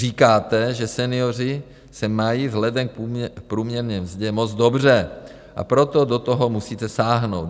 Říkáte, že senioři se mají vzhledem k průměrné mzdě moc dobře, a proto do toho musíte sáhnout.